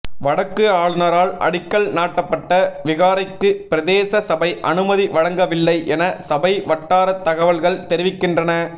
வடக்கு ஆளுனரால் அடிக்கல் நாட்டப்பட்ட விகாரைக்கு பிரதேச சபை அனுமதி வழங்கவில்லை என சபை வட்டார தகவல்கள் தெரிவிக்கின்றன